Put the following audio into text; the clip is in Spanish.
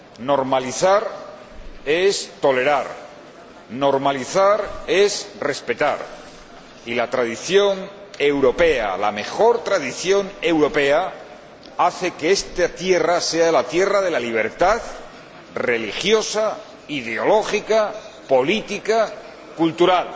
Normalizar es tolerar, normalizar es respetar y la tradición europea, la mejor tradición europea, hace que esta tierra sea la tierra de la libertad religiosa, ideológica, política, cultural